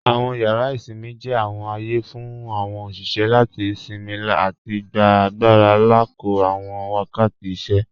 Awọn yàrà isinmí jẹ́ awọn ààyè fún awọn oṣiṣẹ́ láti sinmí àti gbà agbàra lákọ̀ọ̀ awọn wakàtí ìṣẹ́.